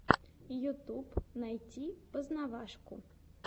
ютюб найти познавашку